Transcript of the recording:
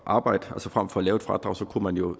arbejde altså frem for at lave et fradrag kunne man jo